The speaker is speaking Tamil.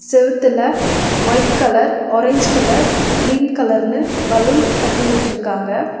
செவுத்துல white colour orange colour green கலர்னு பலூன் கட்டி விட்டிருக்காங்க.